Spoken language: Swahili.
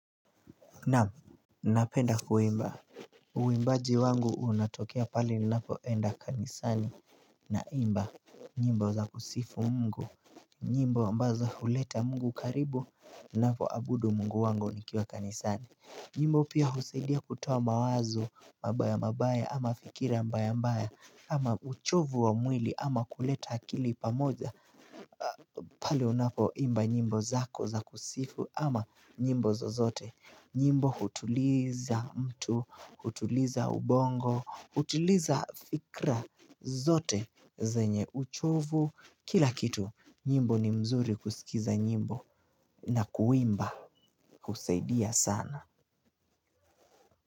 Na'am, napenda kuimba. Uimbaji wangu unatokea pale ninapoenda kanisani naimba, nyimbo za kusifu Mungu nyimbo ambazo huleta Mungu karibu ninapo abudu Mungu wangu nikiwa kanisani. Nyimbo pia husaidia kutoa mawazo mabaya mabaya ama fikira mbaya mbaya, ama uchovu wa mwili ama kuleta akili pamoja. Pale unapo imba nyimbo zako za kusifu ama nyimbo zozote. Nyimbo hutuliza mtu, hutuliza ubongo, hutuliza fikra zote zenye uchovu, kila kitu, nyimbo ni mzuri kusikiza nyimbo. Na kuimba husaidia sana.